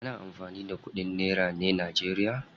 Ana amfani da kudin nera ne najeriya.